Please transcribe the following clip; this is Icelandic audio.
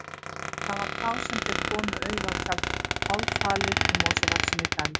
Það var þá sem þeir komu auga á tjaldið, hálffalið í mosavaxinni dæld.